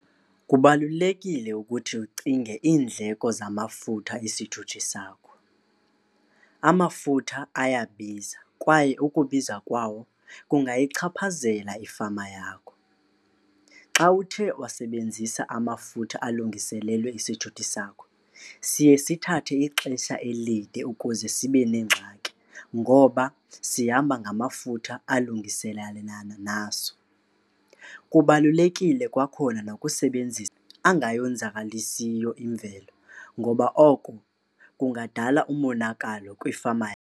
Kubalulekile ukuthi ucinge iindleko zamafutha isithuthi sakho. Amafutha ayabiza kwaye ukubiza kwawo kungayichaphazela ifama yakho. Xa uthe wasebenzisa amafutha alungiselelwe isithuthi sakho siye sithathe ixesha elide ukuze sibe nengxaki ngoba sihamba ngamafutha alungiselalana naso. Kubalulekile kwakhona nokusebenzisa angayonzakalisiyo imvelo ngoba oko kungadala umonakalo kwifama .